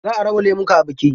Za a raba lemuka a biki.